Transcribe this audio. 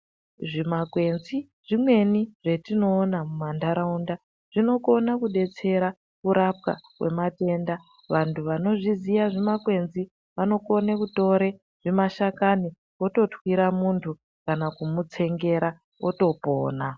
Zvimakwenzi zvimweni zvatinoona mumantaraunda zvinokuna kubetsera kurapwa kwematenda. Vantu vanozviziya zvimakwenzi zvinokone kutore zvimashakani ototwira muntu kana kumutsengera votopona.